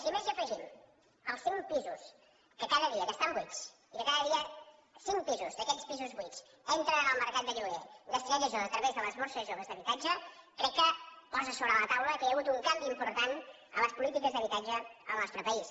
si a més hi afegim els cinc pisos que estan buits i que cada dia cinc pisos d’aquests pisos buits entren en el mercat de lloguer destinats a joves a través de les borses joves d’habitatge crec que posa sobre la taula que hi ha hagut un canvi important en les polítiques d’habitatge al nostre país